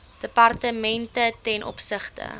departemente ten opsigte